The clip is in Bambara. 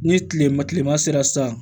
Ni tilema kilema sera sisan